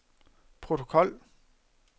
protokol